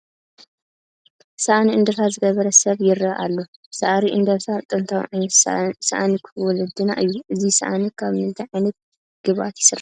ሳእኒ እንድርታ ዝገበረ ሰብ ይርአ ኣሎ፡፡ ሳእሪ እንድርታ ጥንታዊ ዓይነት ሳእኒ ወለድና እዩ፡፡ እዚ ሳእኒ ካብ ምንታይ ዓይነት ግብኣት ይስራሕ?